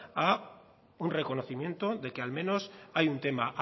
a un reconocimiento de que al menos hay un tema